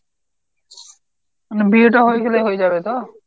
মানে বিয়ে টা হয়ে গেলেই হয়ে যাবে তো?